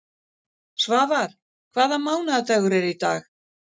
Svafar, hvaða mánaðardagur er í dag?